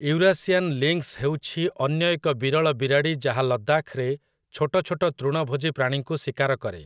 Eurasian lynx ହେଉଛି ଅନ୍ୟ ଏକ ବିରଳ ବିରାଡ଼ି ଯାହା ଲଦ୍ଦାଖ୍‌ରେ ଛୋଟଛୋଟ ତୃଣଭୋଜୀ ପ୍ରାଣୀଙ୍କୁ ଶିକାର କରେ ।